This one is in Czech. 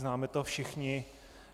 Známe to všichni.